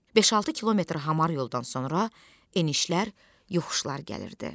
Beş-altı kilometr hamar yoldan sonra enişlər, yoxuşlar gəlirdi.